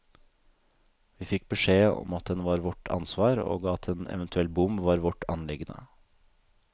Vi fikk beskjed om at den var vårt ansvar, og at en eventuelt bom var vårt anliggende.